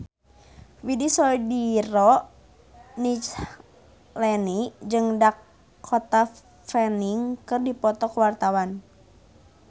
Widy Soediro Nichlany jeung Dakota Fanning keur dipoto ku wartawan